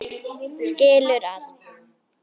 Skilur allt.